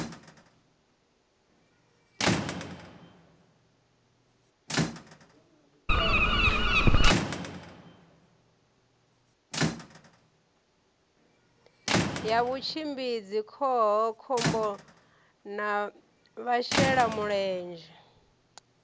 ya vhutshimbidzi khohakhombo na vhashelamulenzhe